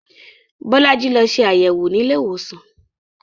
Bolaji lọ ṣe àyẹ̀wò nílé ìwòsàn